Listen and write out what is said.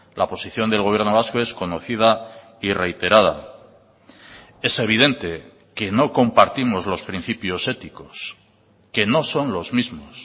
la posición del gobierno vasco es conocida y reiterada es evidente que no compartimos los principios éticos que no son los mismos